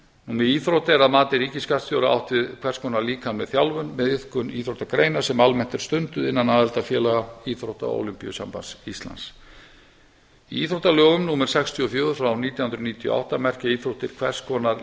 með íþrótt er að mati ríkisskattstjóra átt við hvers konar líkamlega þjálfun með iðkun íþróttagreina sem almennt er stunduð innan aðildarfélaga íþrótta og ólympíusambandi íslands í íþróttalögum númer sextíu og fjögur nítján hundruð níutíu og átta merkja íþróttir hvers konar